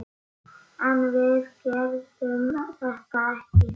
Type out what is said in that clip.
En við gerðum þetta ekki!